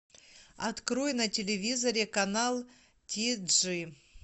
открой на телевизоре канал ти джи